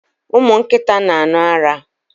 Ụmụ nkịta n'aṅu ara